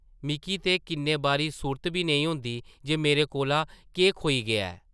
मिक्की ते किन्ने बारी सुर्त बी नेईं होंदी जे मेरे कोला केह् खोई गेआ ऐ ।